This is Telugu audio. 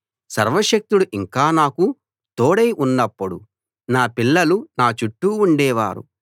సర్వశక్తుడు ఇంకా నాకు తోడై ఉన్నప్పుడు నా పిల్లలు నా చుట్టూ ఉండే వారు